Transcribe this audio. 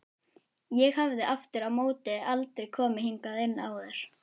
Ég hafði aftur á móti aldrei komið hingað inn áður.